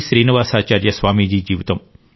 శ్రీనివాసాచార్య స్వామీజీ జీవితం